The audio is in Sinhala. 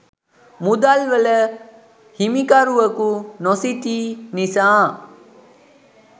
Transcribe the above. මුදල් වල හිමිකරුවකු නොසිටි නිසා